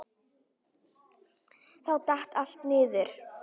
Þá datt allt niður.